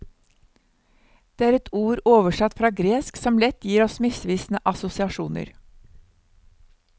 Det er et ord oversatt fra gresk som lett gir oss misvisende assosiasjoner.